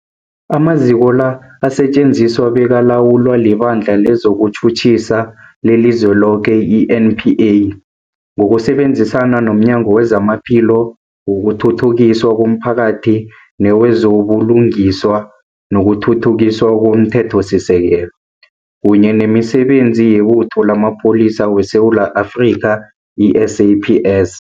Amaziko la asetjenziswa bekalawulwa liBandla lezokuTjhutjhisa leliZweloke, i-NPA, ngokusebenzisana nomnyango wezamaPhilo, wokuthuthukiswa komphakathi newezo buLungiswa nokuThuthukiswa komThethosisekelo, kunye nemiSebenzi yeButho lamaPholisa weSewula Afrika, i-SAPS.